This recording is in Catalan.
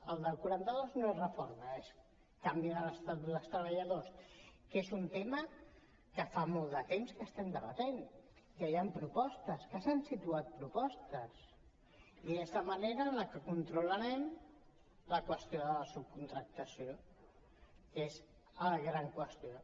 el del quaranta dos no és reforma és canvi de l’estatut dels treballadors que és un tema que fa molt de temps que estem debatent que hi han propostes que s’han situat propostes i és la manera amb la que controlarem la qüestió de la subcontractació que és la gran qüestió